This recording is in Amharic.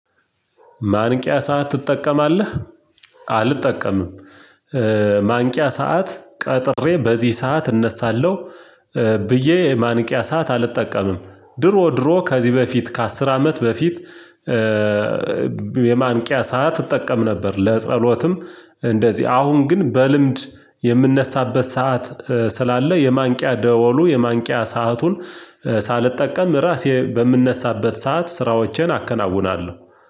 ማንቂያ ሰዓት ትጠቀማለህ? አልጠቀምም ማንቂያ ሰዓት ቀጥሬ በዚህ ሰዓት እነሳለሁ ብዬ ማንቂያ ሰዓት አልጠቀምም ድሮ ድሮ ከዚህ በፊት ከአስር አመት በፊት የማንቂያ ሰዓት እጠቀም ነበር ለጸሎትም እንደዚህ አሁን ግን በልምድ የምነሳበት ሰዓት ስላለ የማንቂያ ደወሉ የማንቂያ ሰአቱን ሳልጠቀም ራሴ በምነሳበት ሰዓት ስራዎቼን አከናውናለሁ